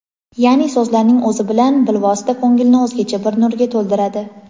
Yaʼni so‘zlarning o‘zi bilan bilvosita ko‘ngilni o‘zgacha bir nurga to‘ldiradi.